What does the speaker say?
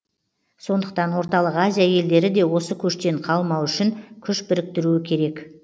сондықтан орталық азия елдері де осы көштен қалмауы үшін күш біріктіруі керек